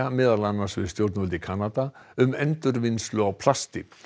meðal annars við stjórnvöld í Kanada um endurvinnslu á plasti